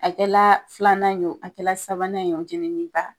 A kɛla filanan ye wo, a kɛlaa sabanan ye wo, jenini ba